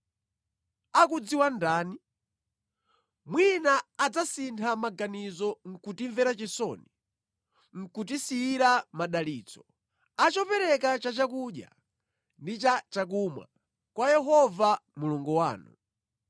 Akudziwa ndani? Mwina adzasintha maganizo nʼkutimvera chisoni, nʼkutisiyira madalitso, a chopereka cha chakudya ndi cha chakumwa kwa Yehova Mulungu wanu.